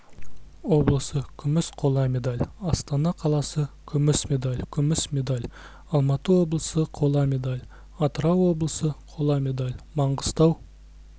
облысы күміс қола медаль астана қаласыкүміс медаль күміс медаль алматы облысы қола медаль атырау облысы қола медаль маңғыстау